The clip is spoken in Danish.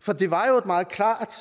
for det var jo et meget klart